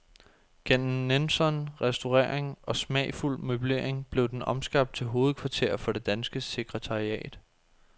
Gennem nænsom restaurering og smagfuld møblering blev den omskabt til hovedkvarter for det danske sekretariat.